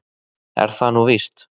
Er það nú víst?